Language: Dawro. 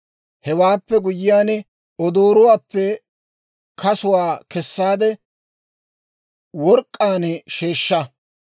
Hewaappe guyyiyaan odooruwaappe kasuwaa kessaade work'k'aan sheeshsha.